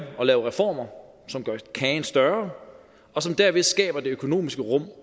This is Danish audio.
at lave reformer som gør kagen større og som derved skaber det økonomiske rum